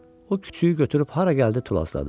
O küçüyü götürüb hara gəldi tullazladı.